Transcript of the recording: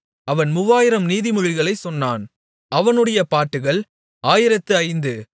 அவன் மூவாயிரம் நீதிமொழிகளைச் சொன்னான் அவனுடைய பாட்டுகள் ஆயிரத்து ஐந்து